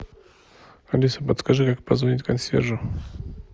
алиса подскажи как позвонить консьержу